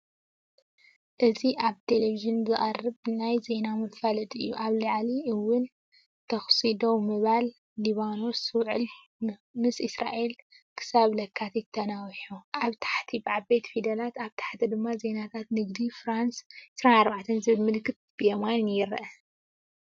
እዚ ኣብ ቴሌቪዥን ዝቐርብ ናይ ዜና መፈለጢ እዩ። ኣብ ላዕሊ ‘ውዕል ተኹሲ ደው ምባል ሊባኖስ’፡ ‘ውዕል ምስ እስራኤል ክሳብ ለካቲት ተናዊሑ። ኣብ ታሕቲ ብዓበይቲ ፊደላት፡ኣብ ታሕቲ ድማ ዜናታት ንግዲ። ፍራንስ 24 ዝብል ምልክት ብየማን ይርአ።